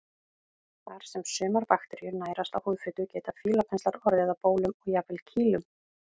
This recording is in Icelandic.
Þar sem sumar bakteríur nærast á húðfitu geta fílapenslar orðið að bólum og jafnvel kýlum.